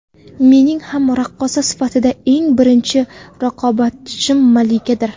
Mening ham raqqosa sifatida eng birinchi raqobatchim Malikadir.